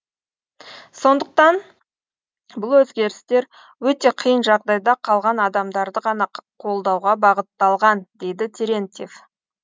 сондықтан бұл өзгерістер өте қиын жағдайда қалған адамдарды ғана қолдауға бағытталған дейді терентьев